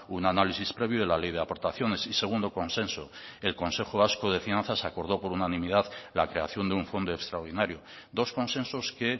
un análisis previo de la ley de aportaciones y segundo consenso el consejo vasco de finanzas acordó por unanimidad la creación de un fondo extraordinario dos consensos que